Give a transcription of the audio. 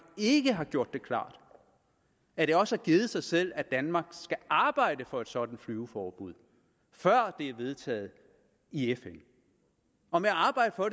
ikke har gjort det klart at det også har givet sig selv at danmark skal arbejde for et sådant flyveforbud før det er vedtaget i fn og med arbejde for